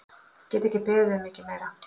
Get ekki beðið um mikið meira!